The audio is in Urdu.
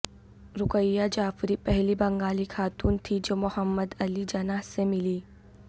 رقیہ جعفری پہلی بنگالی خاتون تھیں جو محمد علی جناح سے ملیں